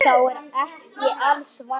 Þér er ekki alls varnað.